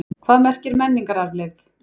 Hvað merkir menningararfleifð?